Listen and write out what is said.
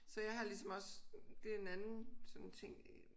Så jeg har ligesom også det er en anden sådan ting